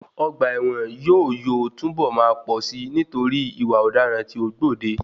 Ọgbà ẹ̀wọ̀n yóò yóò tún bọ̀ máa pọ̀ si nítorí ìwà ọ̀daràn tí o gbòde.